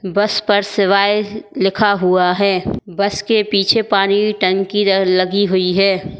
बस पर शिवाय लिखा हुआ है बस के पीछे पानी टंकी लगी हुई है।